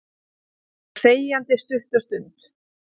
Þær sitja þegjandalegar stutta stund.